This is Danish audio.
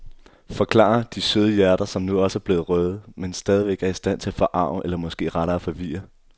Forklarer de søde hjerter, som nu også er blevet røde, men stadigvæk er i stand til at forarge eller måske rettere forvirre.